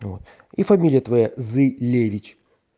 и фамилия твоя зылевич